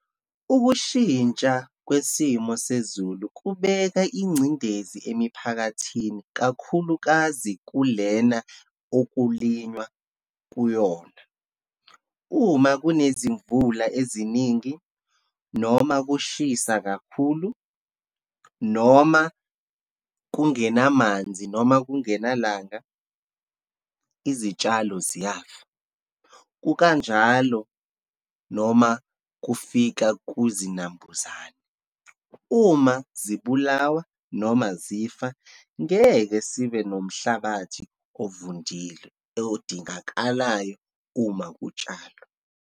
Ukushintsha kwesimo sezulu kubeka ingcindezi emiphakathini, kakhulukazi kulena okulinywa kuyona. Uma kunezimvula eziningi, noma kushisa kakhulu, noma kungenamanzi, noma kungenalanga, izitshalo ziyafa, kukanjalo noma kufika kuzinambuzane. Uma zibulawa noma zifa, ngeke sibe nomhlabathi ovundile, odingakalayo uma kutshalwa.